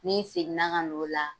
N'i seginna ka na n'o la